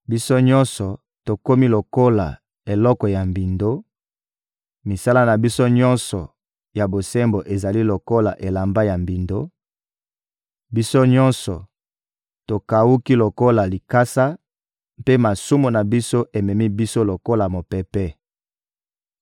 Biso nyonso, tokomi lokola eloko ya mbindo, misala na biso nyonso ya bosembo ezali lokola elamba ya mbindo; biso nyonso tokawuki lokola likasa mpe masumu na biso ememi biso lokola mopepe!